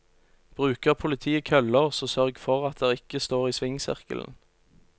Bruker politiet køller, så sørg for at dere ikke står i svingsirkelen.